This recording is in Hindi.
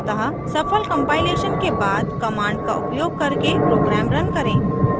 अतः सफल compilation के बाद command का उपयोग करके program रन करें